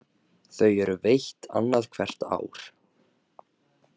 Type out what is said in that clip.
Þau eru veitt annað hvert ár